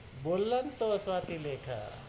বললাম তো, স্বাতীলেখা,